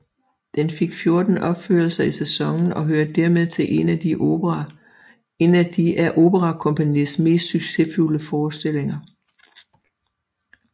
Den fik 14 opførelser i sæsonen og hører dermed til en af operakompagniets mest succesfulde forestillinger